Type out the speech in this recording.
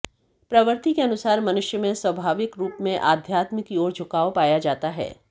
प्रवृत्ति के अनुसार मनुष्य में स्वभाविक रूप में आध्यात्म की ओर झुकाव पाया जाता है